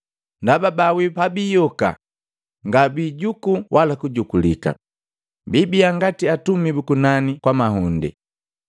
Ndaba baawii pabiyoka ngabiijukuu wala kujukulika, biibia ngati Atumi bu kunani kwa mahunde.